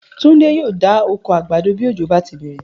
Túndé yóò dá oko àgbàdo bí òjò bá ti bè̩rè̩